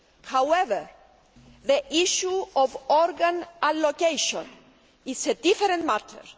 However, the issue of organ allocation is a different matter.